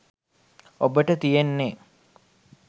ඔබට තියෙන්නේ